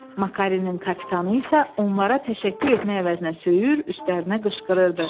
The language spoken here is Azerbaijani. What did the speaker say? Makarenin kapitanı isə onlara təşəkkür etmək əvəzinə söyür, üstlərinə qışqırırdı.